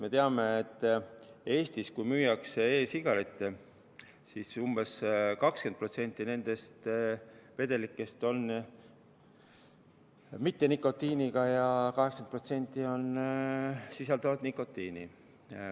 Me teame, et Eestis müüdavatest e-sigareti vedelikest umbes 20% on nikotiinita ja 80% sisaldavad nikotiini.